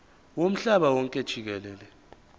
womhlaba wonke jikelele